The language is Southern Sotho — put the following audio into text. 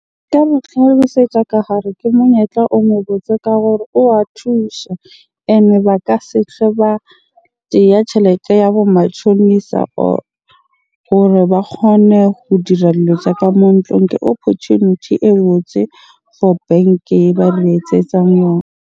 Nka mo tlhalosetsa ka hare ke monyetla o mo botse ka gore o wa thusha. Ene ba ka se ba tseya tjhelete ya bo matjhonisa hore ba kgone ho dira dilo tsa ka mo . Ke opportunity e botse for bank-e e ba le etsetsang yona.